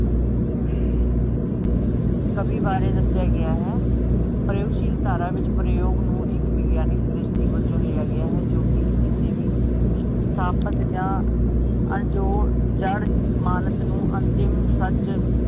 ਕਵੀ ਬਾਰੇ ਦੱਸਿਆ ਗਿਆ ਹੈ ਪ੍ਰਯੋਦ ਸ਼ੀਲ ਧਾਰਾ ਵਿਚ ਪ੍ਰਯੋਦ ਨੂੰ ਇਕ ਵਿਗਿਆਨਿਕ ਦ੍ਰਿਸ਼ਟੀ ਵਜੋਂ ਲਿਆ ਗਿਆ ਹੈ ਜੋ ਕਿ ਕਿਸੇ ਵੀ ਸਥਾਪਤ ਜਾਂ ਜੋ ਜੜ ਮਾਣਸ ਨੂੰ ਅੰਤਿਮ ਸੱਚ